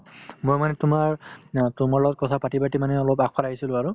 মই মানে তোমাৰ অ তোমাৰ লগত কথা পাতি পাতি মানে অলপ আগফালে আহিছিলো আৰু